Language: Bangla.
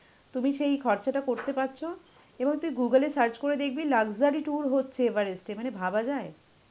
তুমি সেই খরচাটা করতে পারছো এবং তুই Google এ search করে দেখবি luxury tour হচ্ছে এভারেস্ট মানে ভাবা যায়.